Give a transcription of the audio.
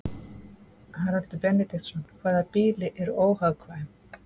Haraldur Benediktsson: Hvaða býli eru óhagkvæm?